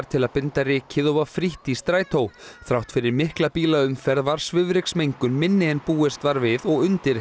til að binda rykið og var frítt í strætó þrátt fyrir mikla bílaumferð var svifryksmengun minni en búist var við og undir